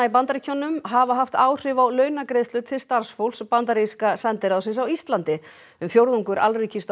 í Bandaríkjunum hafa haft áhrif á launagreiðslur til starfsfólks bandaríska sendiráðsins á Íslandi um fjórðungur